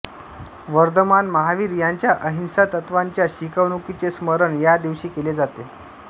वर्धमान महावीर यांच्या अहिंसा तत्वाच्या शिकवणुकीचे स्मरण या दिवशी केले जाते